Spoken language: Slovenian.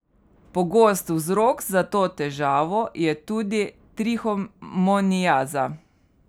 Pogost vzrok za to težavo je tudi trihomoniaza.